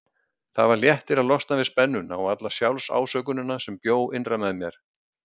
Það var léttir að losna við spennuna og alla sjálfsásökunina sem bjó innra með mér.